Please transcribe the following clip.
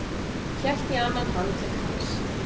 Hélt í annan handlegg hans.